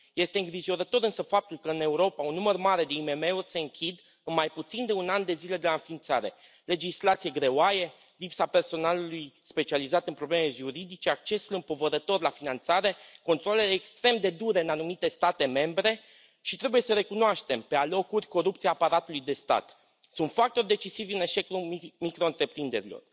Este îngrijorător însă faptul că, în Europa, un număr mare de IMM uri se închid cu mai puțin de un an de zile de la înființare. Legislația greoaie, lipsa personalului specializat în probleme juridice, accesul împovărător la finanțare, controalele extrem de dure în anumite state membre și trebuie să recunoaștem pe alocuri corupția aparatului de stat sunt factori decisivi în eșecul microîntreprinderilor.